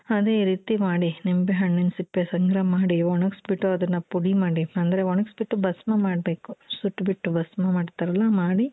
ಅದೇ ಈ ರೀತಿ ಮಾಡಿ ನಿಂಬೆ ಹಣ್ಣಿನ ಸಿಪ್ಪೆ ಸಂಗ್ರಹ ಮಾಡಿ ಒಗಣಿಸಿ ಬಿಟ್ಟು ಅದುನ್ನ ಪುಡಿ ಮಾಡಿ ಅಂದ್ರೆ ಒಣಗಿಸಿ ಬಿಟ್ಟು ಭಸ್ಮ ಮಾಡ್ಬೇಕು ಸುಟ್ಟ್ ಬಿಟ್ಟು ಭಸ್ಮ ಮಾಡ್ತಾರಲ್ಲ ಮಾಡಿ.